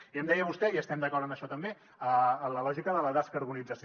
i em deia vostè i estem d’acord en això també la lògica de la descarbonització